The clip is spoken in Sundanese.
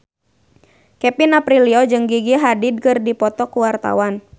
Kevin Aprilio jeung Gigi Hadid keur dipoto ku wartawan